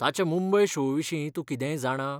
ताच्या मुंबय शो विशीं तूं कितेंय जाणा?